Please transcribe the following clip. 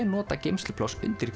nota geymslupláss undir